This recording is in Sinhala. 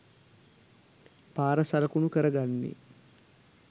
පාර සලකුණු කරගන්නේ